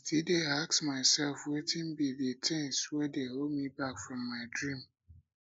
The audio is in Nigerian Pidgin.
i still dey ask myself wetin be di things wey dey hold me back from my dreams